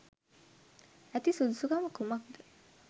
ඇති සුදුසුකම කුමක්ද